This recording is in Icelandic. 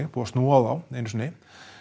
búið að snúa á þá einu sinni